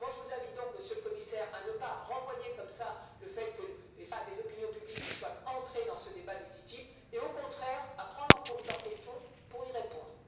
Je vous invite donc, Monsieur le Commissaire, à ne pas renvoyer comme cela, le fait que des opinions publiques soient entrées dans ce débat du TTIP et au contraire à prendre en compte leurs questions pour y répondre.